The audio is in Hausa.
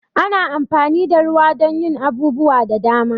Ana amfani da ruwa don yin abubuwa da dama.